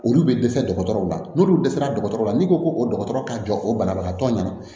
Olu bɛ dɛsɛ dɔgɔtɔrɔw la n'olu dɛsɛra dɔgɔtɔrɔw la n'i ko ko dɔgɔtɔrɔ ka jɔ o banabagatɔ ɲɛna